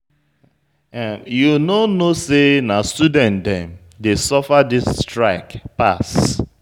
You no know sey na student dem dey suffer dis strike pass.